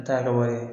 Taa ka wari ye